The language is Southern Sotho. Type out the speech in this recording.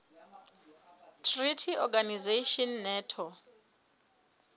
treaty organization nato